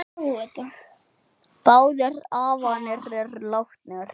Báðir afarnir eru látnir.